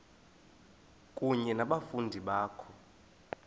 kunye nabafundi bakho